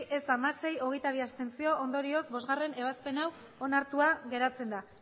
ez hamasei abstentzioak hogeita bi ondorioz bostgarrena ebazpena onartua geratzen da